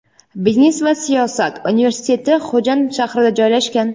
biznes va siyosat universiteti Xo‘jand shahrida joylashgan.